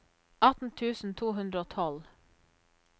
atten tusen to hundre og tolv